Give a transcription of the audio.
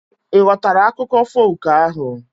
Ị ghọtara akụkọ folk ahu